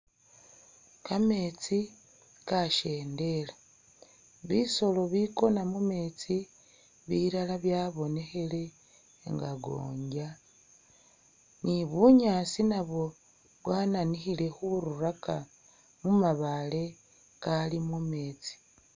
Kametsi kashendela, bisolo bikona mumetsi bilala bya bonekhele nga gonya, ni bunyaasi nabwo bwananikhile khururaka mu mabaale kali mumetsi.